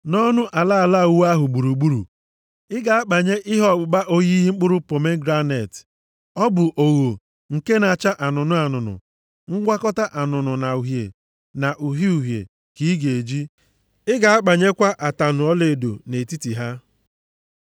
Nʼọnụ ala ala uwe ahụ gburugburu, ị ga-akpanye ihe ọkpụkpa oyiyi mkpụrụ pomegranet. Ọ bụ ogho nke na-acha anụnụ anụnụ, ngwakọta anụnụ na uhie na uhie uhie ka ị ga-eji. Ị ga-akpanyekwa ataṅụ ọlaedo nʼetiti ha.